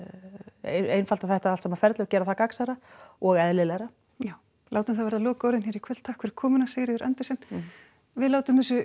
einfalda þetta allt saman ferli og gera það gagnsærra og eðlilegra já látum það verða lokaorðin hér í kvöld takk fyrir komuna Sigríður Andersen við látum þessu